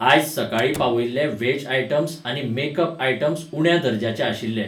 आयज सकाळीं पावयिल्लें व्हेज आयटम्स आनी मेकप आयटम्स उण्या दर्जाचे आशिल्लें.